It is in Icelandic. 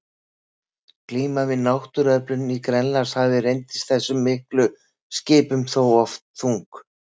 Glíman við náttúruöflin í Grænlandshafi reyndist þessum miklu skipum þó oftlega þung.